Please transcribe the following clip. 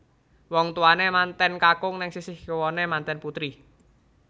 Wong tuwane manten kakung neng sisih kiwane manten putri